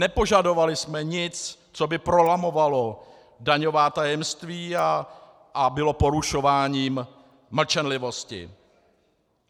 Nepožadovali jsme nic, co by prolamovalo daňová tajemství a bylo porušováním mlčenlivosti.